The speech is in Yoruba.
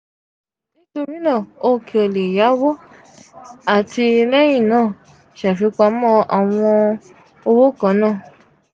nitori naa o ko le yawo ati lẹhin naa ṣafipamọ awọn owo kan naa.